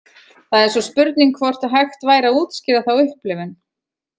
Það er svo spurning hvort að hægt væri að útskýra þá upplifun.